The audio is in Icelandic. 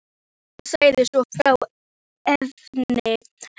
Hann sagði svo frá efni hennar.